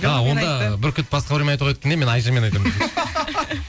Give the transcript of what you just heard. а онда бүркіт басқа біреумен айтуға кеткенде мен айшамен айтамын